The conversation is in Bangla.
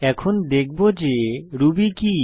এখন দেখব যে রুবি কি